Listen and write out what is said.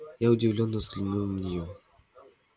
я удивлённо взглянул на нее